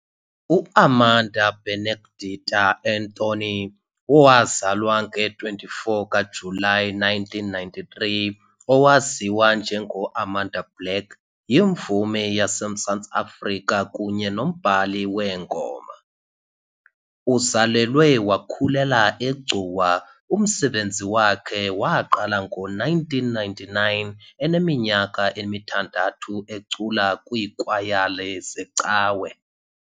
UAmanda Benedicta Antony, owazalwa nge-24 kaJulayi 1993, owaziwa njengoAmanda Black, yimvumi yaseMzantsi Afrika kunye nombhali weengoma. Uzalelwe wakhulela eGcuwa umsebenzi wakhe waqala ngo-1999 eneminyaka emithandathu ecula kwiikwayala zecawe.